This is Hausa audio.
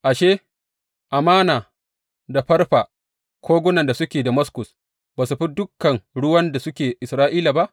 Ashe, Amana da Farfa, kogunan da suke Damaskus, ba su fi dukan ruwan da suke Isra’ila ba?